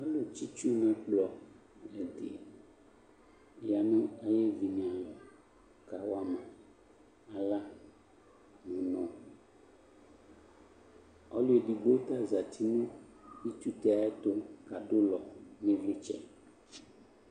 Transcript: Ɔlʊ tsi ɩtsʊ nʊ ɛkplɔ ɛdɩ yanu ayʊ evinalɔ kawama aɣla nʊ unɔ ɔlʊ edigbo ta zatɩ nʊ ɩtsutɛ ayʊ ɛtʊ kʊ ɔkadʊ ʊlɔ nʊ ɩvlɩtsɛ